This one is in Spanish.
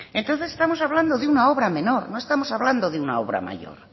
entonces estamos hablando de una obra menor no estamos hablando de una obra mayor